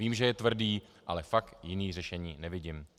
Vím, že je tvrdý, ale fakt jiné řešení nevidím.